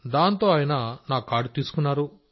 దాంతో ఆయన నా కార్డు తీసుకున్నారు